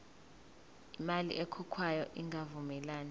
imali ekhokhwayo ingavumelani